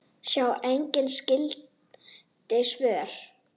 Sjá einnig skyld svör